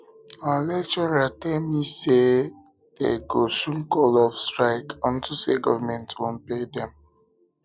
our lecturer tell me say dey me say dey go soon call off the strike unto say government wan pay dem